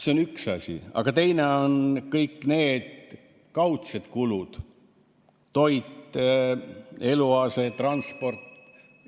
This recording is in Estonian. See on üks asi, aga teiseks on kõik need kaudsed kulud: toit, eluase, transport ...